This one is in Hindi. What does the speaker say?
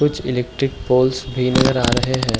कुछ इलेक्ट्रिक पोल्स भी नज़र आ रहे हैं।